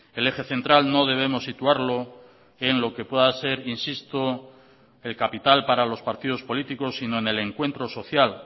el eje central no debemos situarlo en lo que pueda ser insisto el capital para los partidos políticos sino en el encuentro social